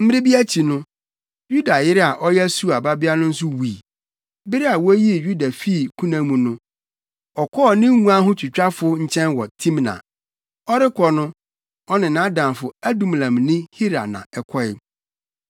Mmere bi akyi no, Yuda yere a ɔyɛ Sua babea no nso wui. Bere a woyii Yuda fii kuna mu no, ɔkɔɔ ne nguanhotwitwafo nkyɛn wɔ Timna. Ɔrekɔ no, ɔne nʼadamfo Adulamni Hira na ɛkɔe.